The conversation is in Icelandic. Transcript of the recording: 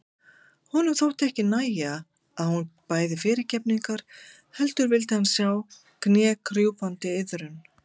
Honum þótti ekki nægja að hún bæði fyrirgefningar heldur vildi hann sjá knékrjúpandi iðrun.